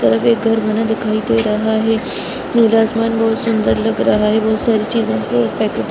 बाहर एक घर बना दिखाई दे रहा है नीला आसमान बहुत सुंदर लग रहा है बहुत सारी चीजों की पैकेट रखें --